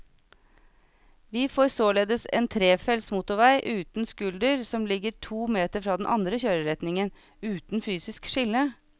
Vi får således en trefelts motorvei uten skulder som ligger to meter fra den andre kjøreretningen, uten fysisk skille.